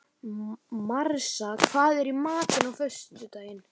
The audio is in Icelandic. Marsa, hvað er í matinn á föstudaginn?